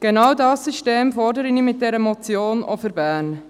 Genau dieses System fordere ich mit dieser Motion auch für Bern.